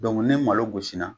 Dɔnku ni malo gosi na